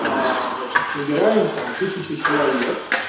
значить набираем там тысячу человек